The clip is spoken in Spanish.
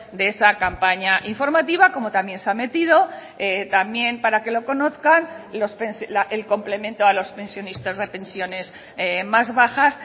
de esa campaña informativa como también se ha metido también para que lo conozcan el complemento a los pensionistas de pensiones más bajas